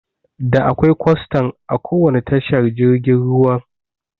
Da akwai kwastan a kowanne tashar jirgin ruwan